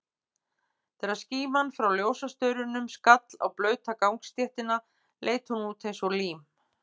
Þegar skíman frá ljósastaurunum skall á blauta gangstéttina, leit hún út eins og lím.